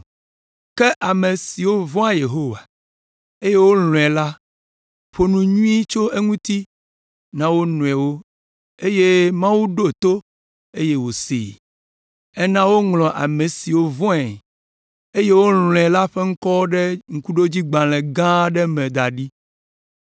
“Ke ame siwo vɔ̃ Yehowa, eye wolɔ̃e la ƒo nu nyui tso eŋuti na wo nɔewo eye Mawu ɖo to eye wòsee. Ena woŋlɔ ame siwo vɔ̃e, eye wolɔ̃e la ƒe ŋkɔwo ɖe ŋkuɖodzigbalẽ gã aɖe me da ɖi.”